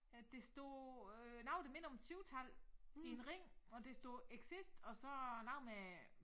Ja der står øh noget der minder om et syvtal i en ring og der står exist og så noget med